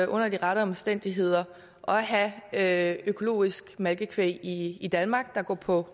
under de rette omstændigheder at have økologisk malkekvæg i i danmark der går på